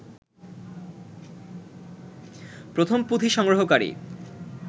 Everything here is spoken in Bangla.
প্রথম পুঁথি সংগ্রহকারী